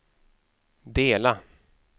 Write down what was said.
dela